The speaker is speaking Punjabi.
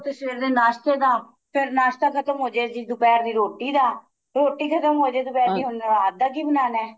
ਸਵੇਰ ਦੇ ਨਾਸ਼ਤੇ ਦਾ ਫੇਰ ਨਾਸ਼ਤਾ ਖਤਮ ਹੋ ਜੇ ਦੁਪਹਿਰ ਦੀ ਰੋਟੀ ਦਾ ਰੋਟੀ ਖਤਮ ਹੋ ਜੇ ਦੁਪਹਿਰ ਦੀ ਰਾਤ ਦਾ ਕੀ ਬਨਾਣਾ